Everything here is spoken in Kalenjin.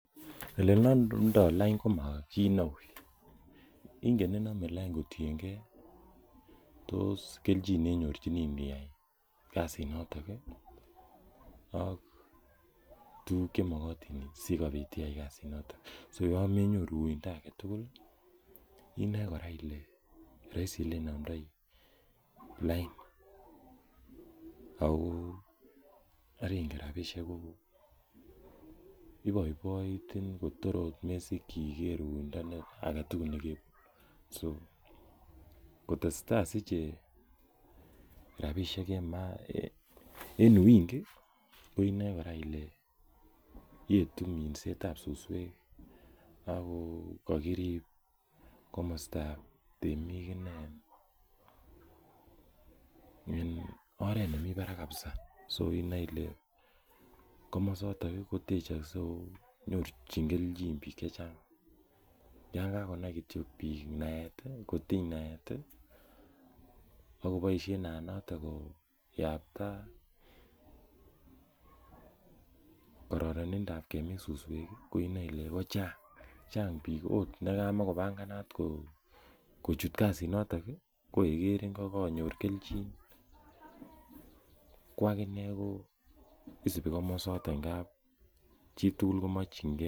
Ole kinomdo lain komo kit neu kotienge ko tos kelchin neinyorchini iniyai kasinatok ak tuguk Che magotin asikobit iyai kasinatok so yon menyoru uindo age tugul inoi kora ile roisi Ole inomdoi lain ako ingen rabisiek ko iboiboitin kotor ot komesikyi iger uindo age tugul nekebun so kotesetai kosiche rabisiek en uwingi inoe kora ile yetu minset ab suswek ak ko karib komosta ab temik inei en oret nemi barak kabisa inoe ile komosaton kotechokse ako nyorchin kelchin bik Che Chang yon kanai bik Kityo naet kotiny naet akoboisien naanaton koyapta kororonindo ab kemin suswek inoe ile kochang bik okot nekamakopanganat kochut kasinatok ko ye kerin ko kanyor kelchin ko aginee kosubi komasato ngap chitugul ko mokyingei